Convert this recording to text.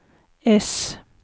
äss